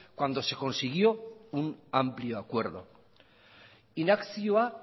cuando se consiguió un amplio acuerdo inakzioa